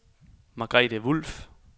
Margrethe Wolff